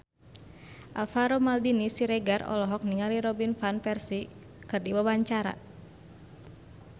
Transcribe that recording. Alvaro Maldini Siregar olohok ningali Robin Van Persie keur diwawancara